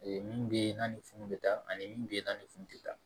Ee mun bɛ ye n'a ni funu bɛ taa ani mun bɛ yen n'a ni funu tɛ taa